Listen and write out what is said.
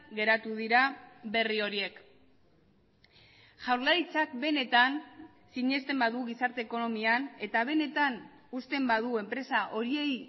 geratu dira berri horiek jaurlaritzak benetan sinesten badu gizarte ekonomian eta benetan uzten badu enpresa horiei